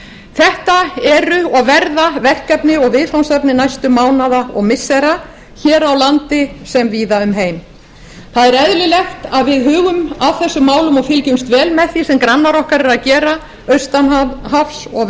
þetta eru og verða verkefni og viðfangsefni næstu mánaða og missira hér á landi sem víða um heim það er eðlilegt að við hugum að þessum málum og fylgjumst vel með því sem grannar okkar eru að gera austan hafs og